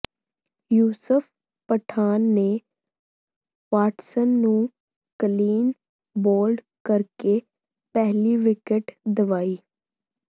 ਯੂਸਫ ਪਠਾਨ ਨੇ ਵਾਟਸਨ ਨੂੰ clean bowled ਕਰਕੇ ਪਹਿਲੀ ਵਿਕਟ ਦਿਵਾਈ